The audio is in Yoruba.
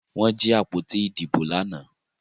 Wón jí àpótí Ìdìbò lànà.